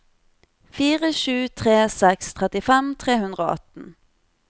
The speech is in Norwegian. fire sju tre seks trettifem tre hundre og atten